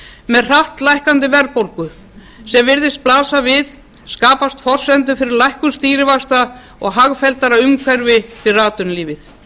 með hratt lækkandi verðbólgu sem virðist blasa við skapast forsendur fyrir lækkun stýrivaxta og hagfelldara umhverfi fyrir atvinnulífið